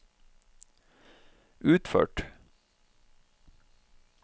utført